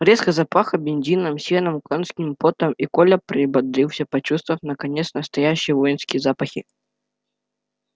резко запахло бензином сеном конским потом и коля прибодрился почувствовав наконец настоящие воинские запахи